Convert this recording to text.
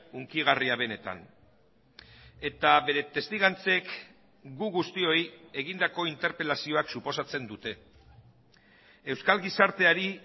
hunkigarria benetan eta bere testigantzek gu guztioi egindako interpelazioak suposatzen dute euskal gizarteari